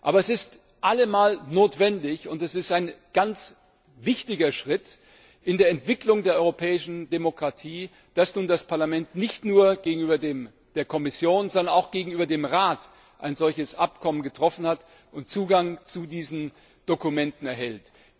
Aber es ist allemal notwendig, und es ist ein ganz wichtiger Schritt in der Entwicklung der europäischen Demokratie, dass nun das Parlament nicht nur mit der Kommission, sondern auch mit dem Rat ein solches Abkommen getroffen hat und Zugang zu diesen Dokumenten erhält.